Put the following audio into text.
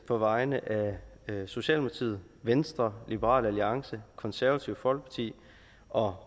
på vegne af socialdemokratiet venstre liberal alliance det konservative folkeparti og